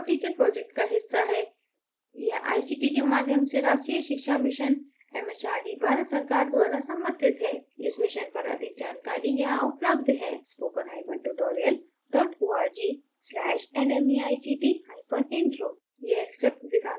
spoken tutorial project talk to a teacher project का एक हिस्सा है यह आईसीटी के माध्यम से राष्ट्रीय शिक्षा mission एमएचआरडी भारत सरकार द्वारा समर्थित है इस mission पर अधिक जानकारी यहां उपलब्ध है: